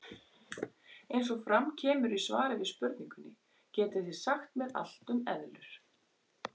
Eins og fram kemur í svari við spurningunni Getið þið sagt mér allt um eðlur?